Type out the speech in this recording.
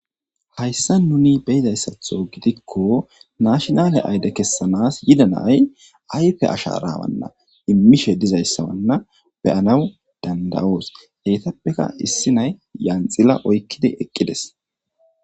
Hayssa nuni be7iza gidikko nashinaale ayide kessanas yida na7ay ayipe ashaara immishe dizaysa be7anas danda7oos eetapeka janxila oykkides.